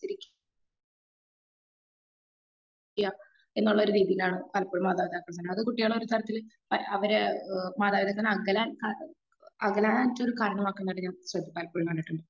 അനുസരിക്ക എന്നുള്ള ഒരു രീതിയിലാണ് പലപ്പോഴും മാതാപിതാക്കൾ അത് കുട്ടികളെ ഒരു തരത്തിൽ അവരെ മാതാപിതാക്കളിൽ നിന്ന് അകലാൻ അകലാനായിട്ടുള്ള ഒരു കാര്യമാക്കുന്നതിനും പലപ്പോഴും കണ്ടിട്ടുണ്ട്.